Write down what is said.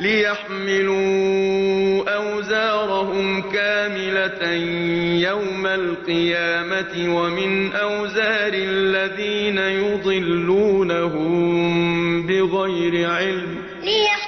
لِيَحْمِلُوا أَوْزَارَهُمْ كَامِلَةً يَوْمَ الْقِيَامَةِ ۙ وَمِنْ أَوْزَارِ الَّذِينَ يُضِلُّونَهُم بِغَيْرِ عِلْمٍ ۗ